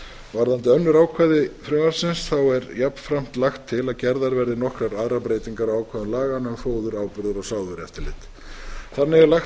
varðandi önnur ákvæði frumvarpsins er jafnframt lagt til að gerðar verði nokkrar aðrar breytingar á ákvæðum laganna um fóður áburðar og sáðvörueftirlit þannig er lagt